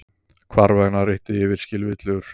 Hvarvetna ríkti yfirskilvitlegur friður.